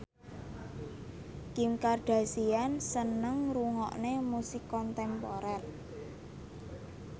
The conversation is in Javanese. Kim Kardashian seneng ngrungokne musik kontemporer